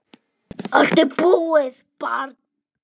Allt er búið, barn.